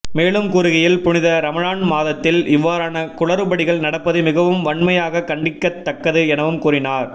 மேலும் கூறுகையில் புனித ரமழான் மாதத்தில் இவ்வாறான குளறுபடிகள் நடப்பது மிகவும் வன்மையாகக் கண்டிக்கத் தக்கது எனவும் கூறினார்